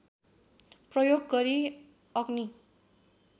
प्रयोग गरी अग्नि